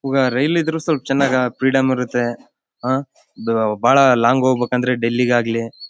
ಉಗ rail ಇದ್ರೂ ಸ್ವಲ್ಪ್ ಚೆನ್ನಾಗಾ ಫ್ರೀಡಂ ಇರುತ್ತೆ ಬಹಳ ಲಾಂಗ್ ಹೋಗ್ಬೇಕು ಅಂದ್ರೆ ಡೆಲ್ಲಿಗಾಗ್ಲಿ --